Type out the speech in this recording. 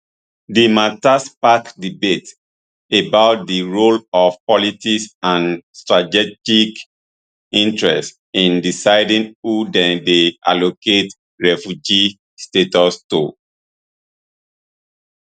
di mata spark debate about di role of politics and strategic interests in deciding who dem dey allocate refugee status to